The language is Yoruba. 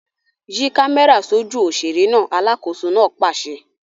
Yí kámẹ́rà sójú òṣèré náà! Alákòóso náà pàṣẹ.